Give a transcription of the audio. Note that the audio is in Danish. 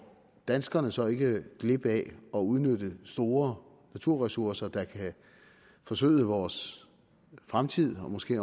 danskerne så ikke glip af at udnytte store naturressourcer der kan forsøde vores fremtid og måske